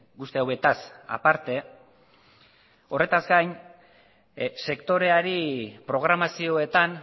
guzti hauetaz aparte horretaz gain sektoreari programazioetan